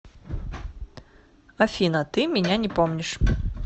афина ты меня не помнишь